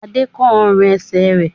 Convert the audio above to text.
Adé kán ọrùn-ẹsẹ̀ rẹ̀?